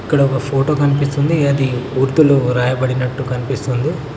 ఇక్కడ ఒక ఫోటో కనిపిస్తుంది అది ఉర్దూలో రాయబడినట్టు కనిపిస్తుంది.